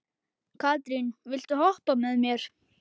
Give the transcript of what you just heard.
Katrín, viltu hoppa með mér?